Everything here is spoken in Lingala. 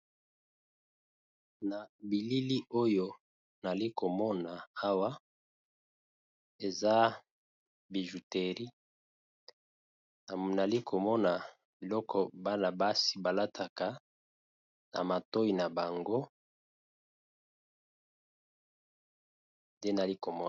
Na bilili oyo nali komona awa eza bijouterie, nali komona biloko bana basi ba lataka na matoyi na bango te nali komona.